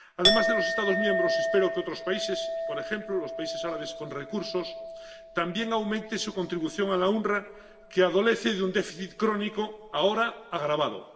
Además de los Estados miembros, espero que otros países, por ejemplo los países árabes con recursos, también aumenten su contribución al OOPS, que adolece de un déficit crónico, ahora agravado.